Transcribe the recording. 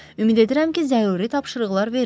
Ümid edirəm ki, zəruri tapşırıqlar verilib.